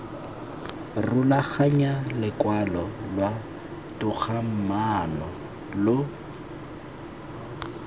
rulaganya lokwalo lwa togamaano lo